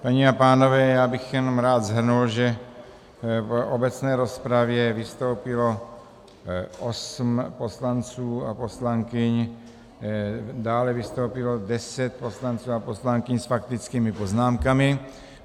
Paní a pánové, já bych jenom rád shrnul, že v obecné rozpravě vystoupilo osm poslanců a poslankyň, dále vystoupilo deset poslanců a poslankyň s faktickými poznámkami.